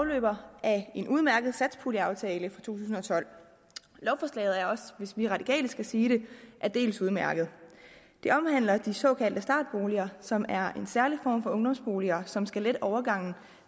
udløber af en udmærket satspuljeaftale for to tusind og tolv lovforslaget er også hvis vi radikale skal sige det aldeles udmærket det omhandler de såkaldte startboliger som er en særlig form for ungdomsboliger som skal lette overgangen